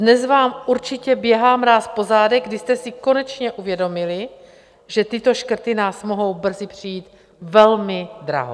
Dnes vám určitě běhá mráz po zádech, když jste si konečně uvědomili, že tyto škrty nás mohou brzy přijít velmi draho.